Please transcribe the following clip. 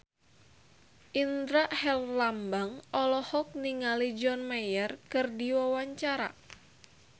Indra Herlambang olohok ningali John Mayer keur diwawancara